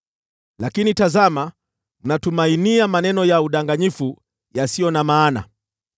Lakini tazama, mnatumainia maneno ya udanganyifu yasiyo na maana.